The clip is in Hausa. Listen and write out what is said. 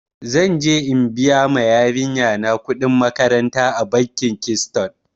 Zan je in biya ma yarinya na kuɗin makaranta a bankin kiston.